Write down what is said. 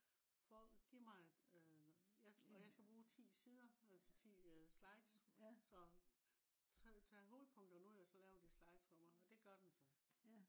giv mig et øh og jeg skal bruge 10 sider altså 10 slides så tag hovedpunkterne ud og så lav de slides for mig. og det gør den så